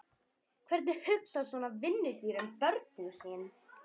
Hvernig hugsar svona vinnudýr um börnin sín?